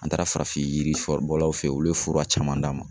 An taara farafin yiri fura bɔlaw fe olu ye fura caman d'an ma